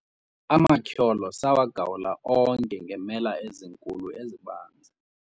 amatyholo sawagawula onke ngeemela ezinkulu ezibanzi